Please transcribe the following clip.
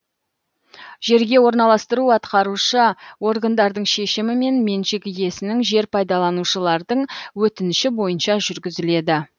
жерге орналастыру атқарушы органдардың шешімімен меншік иесінің жер пайдаланушылардың өтініші бойынша жүргізіледі